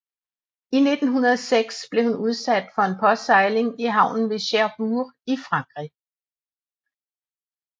I 1906 blev hun udsat for en påsejling i havnen i Cherbourg i Frankrig